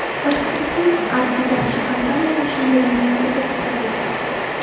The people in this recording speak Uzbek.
Boshqirdiston arbitraji kompaniyani o‘sha yili noyabrida kasod deb topdi.